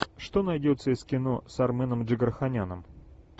что найдется из кино с арменом джигарханяном